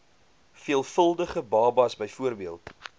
veelvuldige babas bv